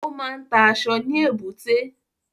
Ó máa ń ta aṣọ ní èbúté